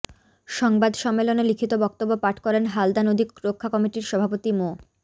সংবাদ সম্মেলনে লিখিত বক্তব্য পাঠ করেন হালদা নদী রক্ষা কমিটির সভাপতি মো